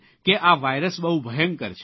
કે આ વાયરસ બહુ ભયંકર છે